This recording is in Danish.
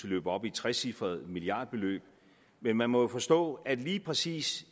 løber op i et trecifret milliardbeløb men man må forstå at lige præcis